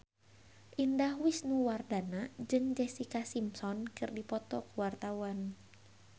Indah Wisnuwardana jeung Jessica Simpson keur dipoto ku wartawan